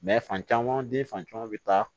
fan caman den fan caman bɛ taa